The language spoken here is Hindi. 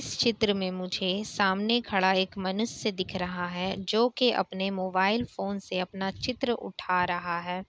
इस चित्र में मुझे सामने खड़ा एक मनुष्य दिख रहा है जो की अपना मोबाइल फ़ोन से अपना एक चित्र उठा रहा है।